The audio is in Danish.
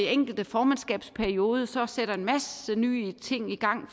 enkelte formandskabsperiode sætter en masse nye ting i gang